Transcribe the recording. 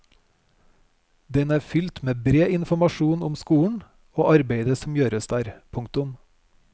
Den er fylt med bred informasjon om skolen og arbeidet som gjøres der. punktum